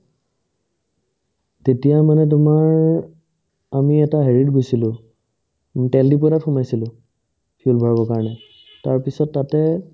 তেতিয়া মানে তোমাৰ আমি এটা হেৰিত গৈছিলো উম তেল ডিপু এটাত সোমাইছিলো কাৰণে তাৰপিছত তাতে